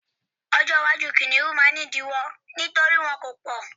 ọjọ iwaju kiniun ma ni idiwọ nítorí wọn ko pọ mọ